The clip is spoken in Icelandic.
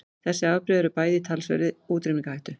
Þessi afbrigði eru bæði í talsverðri útrýmingarhættu.